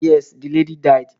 Yes, the lady died.